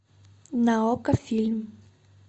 на окко фильм